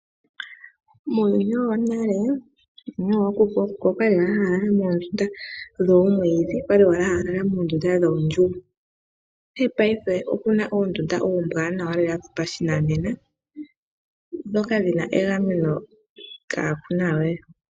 Muuyuni wonale ,Uuyuni wookuku. Ookuku okwali ha ya lala moondunda dhomwiidhi. okwali ha ya lala moondjugo. Ashike mongaashingeyi oku na oondunda oombwanawa dhopashinanena ndhoka dhina egameno kaa kunawe.